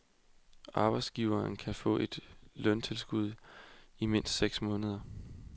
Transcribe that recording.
Arbejdsgiveren kan få et løntilskud i mindst seks måneder.